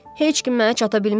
Heç kim mənə çata bilmir ki.